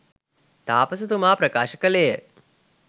තාපසතුමා ප්‍රකාශ කළේ ය.